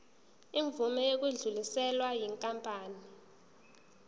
imvume yokudluliselwa yinkampani